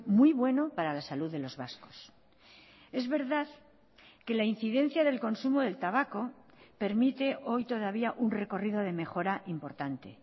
muy bueno para la salud de los vascos es verdad que la incidencia del consumo del tabaco permite hoy todavía un recorrido de mejora importante